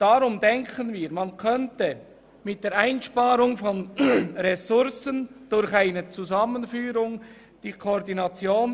Unseres Erachtens könnte man sparen, indem man Ressourcen zusammenführt und koordiniert.